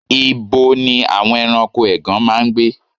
Ìbo ní àwọn ẹranko ègàn máa ń gbé?